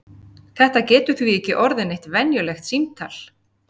Þetta getur því ekki orðið neitt venjulegt símtal!